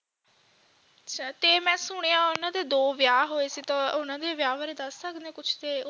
ਅੱਛਾ ਤੇ ਮੈਂ ਸੁਣਿਆ ਉਨ੍ਹਾਂ ਦੇ ਦੋ ਵਿਆਹ ਹੋਏ ਸੀ ਤਾਂ ਉਨ੍ਹਾਂ ਦੇ ਵਿਆਹ ਬਾਰੇ ਦੱਸ ਸਕਦੇ ਹੋ ਕੁਝ